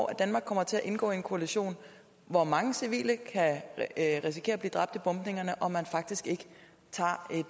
at danmark kommer til at indgå i en koalition hvor mange civile kan risikere at blive dræbt i bombningerne og at man faktisk ikke tager et